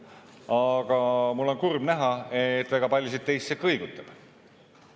Aga mul on kurb näha, et väga paljusid teisi see kõigutab.